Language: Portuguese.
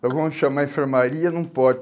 Então vamos chamar a enfermaria num pode